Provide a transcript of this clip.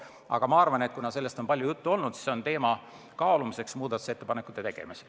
Aga kuna sellest kartusest on palju juttu olnud, siis see teema on kaalumiseks muudatusettepanekute tegemisel.